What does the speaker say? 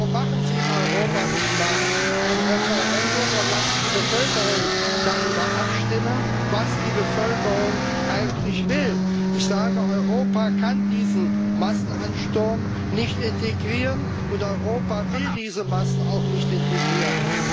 Warum machen Sie in Europa nicht mal ein Referendum und lassen die Bevölkerung darüber abstimmen, was die Bevölkerung eigentlich will? Ich sage Europa kann diesen Massenansturm nicht integrieren, und Europa will diese Massen auch nicht integrieren.